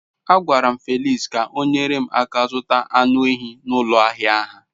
A gwaram Felix ka onyere m aka zuta anu ehi n'ulo ahia ha